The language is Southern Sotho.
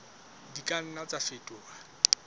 di ka nna tsa fetoha